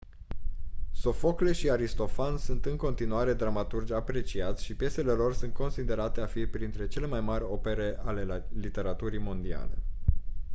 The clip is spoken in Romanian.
sofocle și aristofan sunt în continuare dramaturgi apreciați și piesele lor sunt considerate a fi printre cele mai mari opere ale literaturii mondiale